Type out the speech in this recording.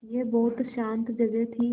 यह बहुत शान्त जगह थी